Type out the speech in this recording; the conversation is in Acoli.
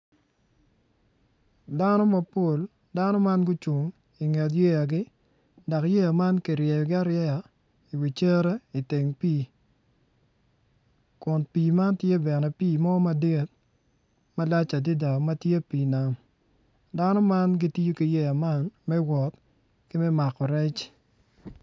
Dano mapol gucung i ka nget yeyagi dok yeya man kiryeyogi areya i wi cere i teng pii kun pii man bene tye pii mo madit malac adada ma tye pii nam dano man gitiyo ki yeya man me wot ki me mako rec.